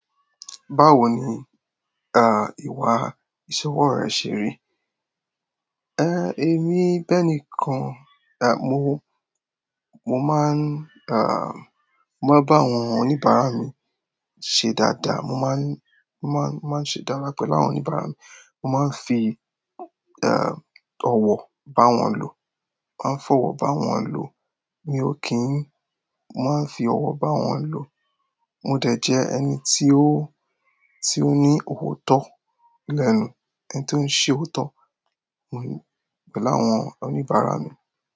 Báwo ni, ìwà ìṣòwò rẹ ṣe rí? Èmi bẹ́ẹ̀ nìkan, ah, mo, mo máa n, ah, mo máa ń bá àwọn oníbàárà mi ṣe dáadáa. Mo máa ń, mo máa ń, mo máa ń ṣe dáadáa pẹ̀lú àwọn oníbàárà mi. Mo máa ń fi, ọ̀wọ̀ bá wọn lò. Mo máa ń fọ̀wọ́ bá wọn lò. Mi ò kí ń. Mo máa ń fi ọ̀wọ̀ bá wọn lò. Mo dẹ̀ jẹ́ ẹni tí ó, tí ó ní òótọ́ ẹni tí ó ń ṣe òótọ́ pẹ̀lú àwọn oníbàárà mi.